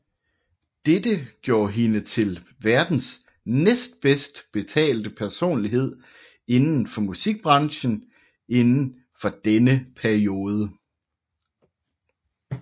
Dette gjorde hende til verdens næstbedstbetalte personlighed inden for musikbranchen inden for denne periode